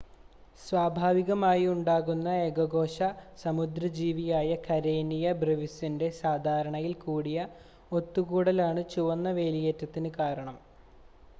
സ്വാഭാവികമായി ഉണ്ടാകുന്ന ഏകകോശ സമുദ്ര ജീവിയായ കരേനിയ ബ്രെവിസിൻ്റെ സാധാരണയിൽ കൂടിയ ഒത്തുകൂടലാണ് ചുവന്ന വേലിയേറ്റത്തിന് കാരണം